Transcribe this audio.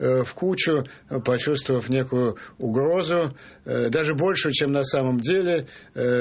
в кучу почувствовав некую угрозу даже большую чем на самом деле